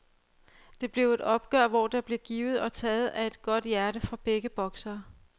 Det blev et opgør, hvor der blev givet og taget af et godt hjerte fra begge boksere.